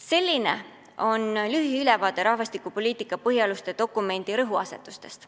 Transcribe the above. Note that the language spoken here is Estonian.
Selline on lühiülevaade rahvastikupoliitika põhialuste dokumendi rõhuasetustest.